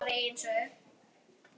Að eigin sögn.